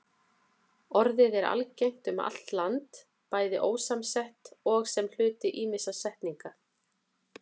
Orðið er algengt um allt land, bæði ósamsett og sem hluti ýmissa samsetninga.